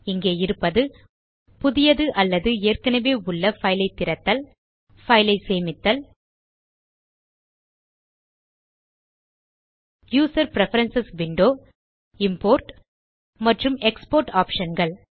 இங்கே இருப்பது - புதிய அல்லது ஏற்கனவே உள்ள பைல் ஐ திறத்தல் பைல் ஐ சேமித்தல் யூசர் பிரெஃபரன்ஸ் விண்டோ இம்போர்ட் மற்றும் எக்ஸ்போர்ட் optionகள்